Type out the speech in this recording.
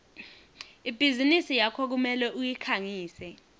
ibhizinisi yakho kumele uyikhangise